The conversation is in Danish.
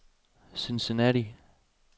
Cincinnati